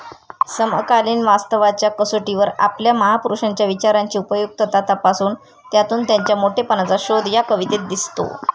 समकालीन वास्तवाच्या कसोटीवर आपल्या महापुरुषांच्या विचारांची उपयुक्तता तपासून, त्यातून त्यांच्या मोठेपणाचा शोध या कवितेत दिसतो.